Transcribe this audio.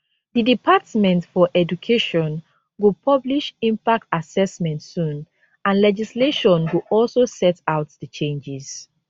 di department for education go publish impact assessment soon and legislation go also set out di changes